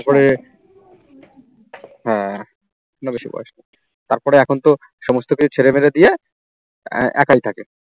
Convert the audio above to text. হ্যাঁ না বেশি বয়স, তার পরে এখন তো সমস্ত কিছু ছেড়ে মেরে দিয়ে একাই থাকে